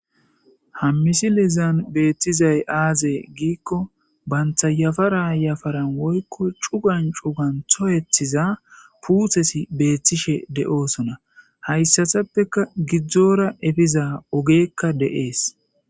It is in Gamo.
Ha misilezan beetizay aaze gikko banta yafaran yafaran woykko cugan cugan toyetiza puuteti beetishe de'osonna; hayssatappeka giddora epiza ogeykka de'es.